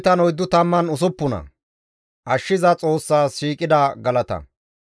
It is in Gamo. GODAY galatetto! Ta shemppoyee, GODAA galata!